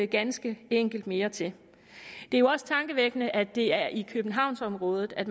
ganske enkelt mere til det er jo også tankevækkende at det er i københavnsområdet at